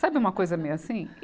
Sabe uma coisa meio assim?